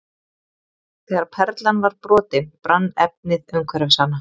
Þegar perlan var brotin brann efnið umhverfis hana.